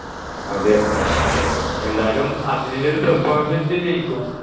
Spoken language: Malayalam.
അതെ എന്തായാലും അർജൻറീനയുടെ ഒരു performance വെച്ച് ജയിക്കും